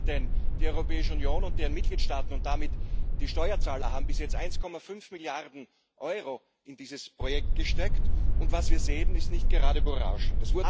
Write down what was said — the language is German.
Ich denke nicht, denn die Europäische Union und ihre Mitgliedstaaten und damit die Steuerzahler haben bis jetzt 1,5 Milliarden Euro in dieses Projekt gesteckt, und was wir sehen, ist nicht gerade berauschend.